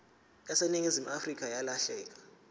yaseningizimu afrika yalahleka